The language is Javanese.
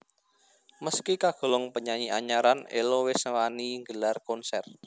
Meski kagolong penyanyi anyaran Ello wis wani nggelar konser